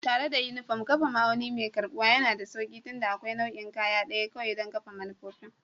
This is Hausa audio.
Tare da unifom, kafa ma'auni mai karɓuwa yana da sauƙi tunda akwai nau'in kaya ɗaya kawai don kafa manufofin